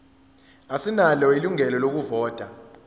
asinalo ilungelo lokuvota